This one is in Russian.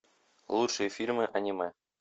лучшие фильмы аниме